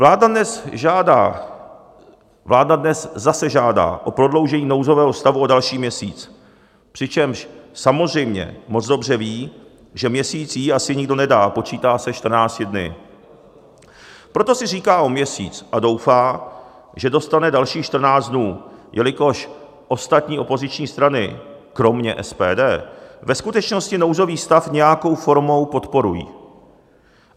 Vláda dnes zase žádá o prodloužení nouzového stavu o další měsíc, přičemž samozřejmě moc dobře ví, že měsíc jí asi nikdo nedá, počítá se 14 dny, proto si říká o měsíc a doufá, že dostane dalších 14 dnů, jelikož ostatní opoziční strany kromě SPD ve skutečnosti nouzový stav nějakou formou podporují.